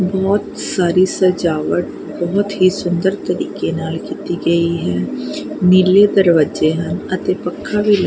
ਬਹੁਤ ਸਾਰੀ ਸਜਾਵਟ ਬਹੁਤ ਹੀ ਸੁੰਦਰ ਤਰੀਕੇ ਨਾਲ ਕੀਤੀ ਗਈ ਹੈ ਨੀਲੇ ਦਰਵਾਜੇ ਹਨ ਅਤੇ ਪੱਖਾ ਵੀ--